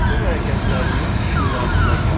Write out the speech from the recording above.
bütün hərəkətlərimiz şüuraltından gəlir.